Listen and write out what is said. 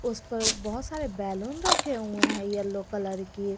उस पर बहोत सारे बैलून रखे हुए हैं येलो कलर के।